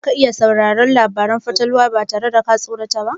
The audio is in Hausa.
Za ka iya sauraron labaran fatalwa ba tare da ka tsorata ba?